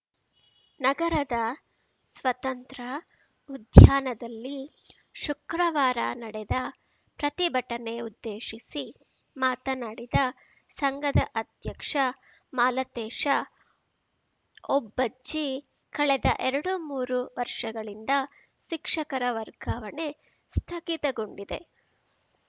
ನಗರದ ಸ್ವತಂತ್ರ ಉದ್ಯಾನದಲ್ಲಿ ಶುಕ್ರವಾರ ನಡೆದ ಪ್ರತಿಭಟನೆ ಉದ್ದೇಶಿಸಿ ಮಾತನಾಡಿದ ಸಂಘದ ಅಧ್ಯಕ್ಷ ಮಾಲತೇಶ ಒಬ್ಬಜ್ಜಿ ಕಳೆದ ಎರಡುಮೂರು ವರ್ಷಗಳಿಂದ ಶಿಕ್ಷಕರ ವರ್ಗಾವಣೆ ಸ್ಥಗಿತಗೊಂಡಿದೆ